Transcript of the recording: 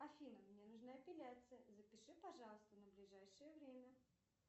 афина мне нужна эпиляция запиши пожалуйста на ближайшее время